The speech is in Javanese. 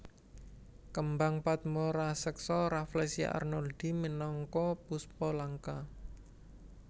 Kembang padma raseksa Rafflesia arnoldii minangka puspa langka